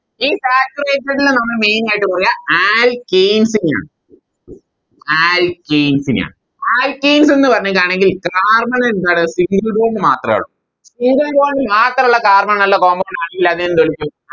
ഈ Saturated നെ നമ്മള് Main ആയിട്ട് പറയാ Alkanes നെ ആണ് Alkanes നെയാണ് Alkanes എന്ന് പറയുകയാണെങ്കിൽ Carbon എന്താണ് Single bond മാത്രാ ഉള്ളു Single bond മാത്രോള്ള carbon ഉള്ള Compound ന് ആളില്ലാതെ എന്ത് വിളിക്കും